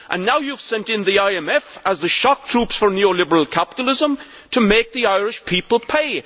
Now you have sent in the IMF as the shock troops for neoliberal capitalism to make the Irish people pay.